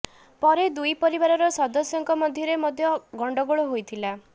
ପରେ ଦୁଇ ପରିବାରର ସଦସ୍ୟଙ୍କ ମଧ୍ୟରେ ମଧ୍ୟ ଗଣ୍ଡଗୋଳ ହୋଇଥିଲା